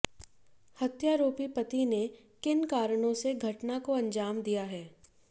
हत्यारोपी पति ने किन कारणों से घटना को अंजाम दिया है